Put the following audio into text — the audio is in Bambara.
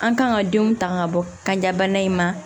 An kan ka denw ta ka bɔ kan bana in ma